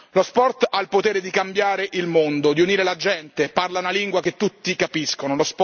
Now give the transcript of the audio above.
Lo sport ha il potere di cambiare il mondo, di unire la gente, parla una lingua che tutti capiscono.